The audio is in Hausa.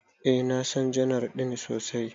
Eh, na San janar din sosai.